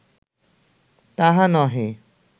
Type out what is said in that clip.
তাহা নহে